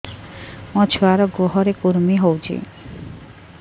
ମୋ ଛୁଆର୍ ଗୁହରେ କୁର୍ମି ହଉଚି